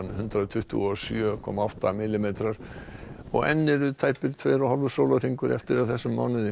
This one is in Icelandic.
hundrað tuttugu og sjö komma átta millimetrar enn eru tæpir tveir og hálfur sólarhringur eftir af þessum mánuði